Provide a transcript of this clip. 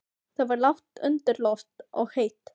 Það var lágt undir loft og heitt.